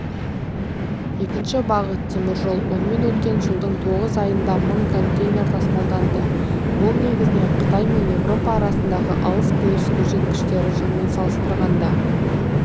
екінші бағыт теміржол онымен өткен жылдың тоғыз айында мың контейнер тасымалданды бұл негізінен қытай мен еуропа арасындағы алыс-беріс көрсеткіштер жылмен салыстырғанда